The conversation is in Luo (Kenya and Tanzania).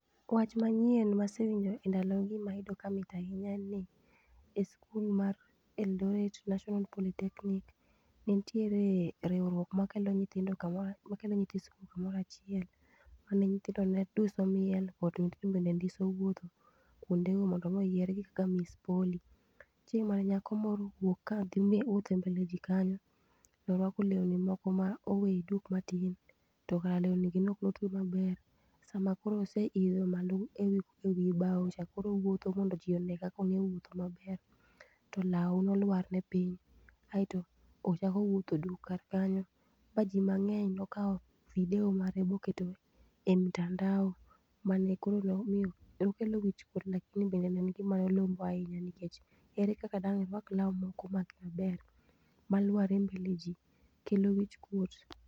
Wach manyien masewinjo e ndalo gi mayudo ka mit ahinya en ni e skul mar Eldoret National Polytechnic nitiere riwruok makelo nyithindo kamoro, makelo nyithi skul kumoro achielo mane nyothindo ne duso miel kendo nyithindo ne ndiso wuotho kuonde go mondo mi oyiergi kaka Miss Poly. Chieng mane nyako moro owuok kadhi wuotho e mbele jii kanyo torwako lewni moko ma oweye duk matin tokare lewni gi neok otwe maber, sama koro oseidho malo ewi bao cha koro owuotho mondo jii one kaka onge wuotho maber to lao nolwar ne piny kaito ochako wuotho duk kar kanyo ma jii mangeny nokao video mare moketo e mitandao mane koro nomiyo nokelo wichkuot lakini bende ne en gina lombo ahinyha nikech ere kaka dang' irwak lao maok omaki maber maluar e mbele jii, kelo wichkuot